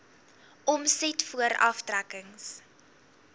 omset voor aftrekkings